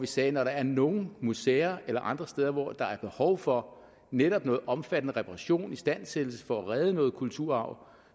sige at når der er nogle museer eller andre steder hvor der er behov for netop noget omfattende reparation istandsættelse for at redde noget kulturarv